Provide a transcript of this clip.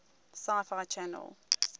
sci fi channel